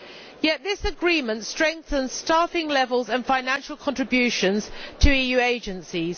Yet this agreement strengthens staffing levels and financial contributions to EU agencies.